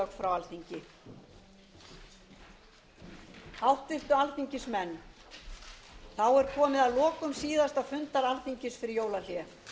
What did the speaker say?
háttvirtu alþingismenn þá er komið að lokum síðasta fundar alþingis fyrir jólahlé ég